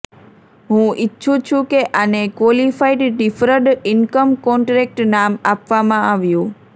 હું ઈચ્છું છું કે આને ક્વોલિફાઈડ ડિફરડ ઇન્કમ કોન્ટ્રેક્ટ નામ આપવામાં આવ્યું